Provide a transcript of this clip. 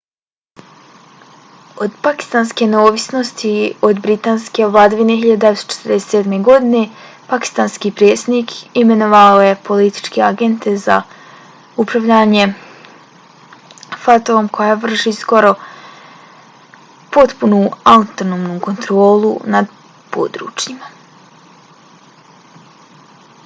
od pakistanske neovisnosti od britanske vladavine 1947. godine pakistanski predsjednik imenovao je političke agente za upravljanje fata-om koja vrši skoro potpunu autonomnu kontrolu nad područjima